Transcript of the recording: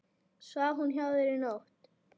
Svaf hún hjá þér í nótt?